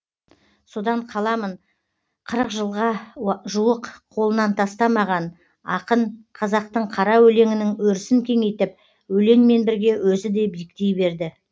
содан қаламын қырық жылға жуық қолынан тастамаған ақын қазақтың қара өлеңінің өрісін кеңейтіп өлеңмен бірге өзі де биіктей берді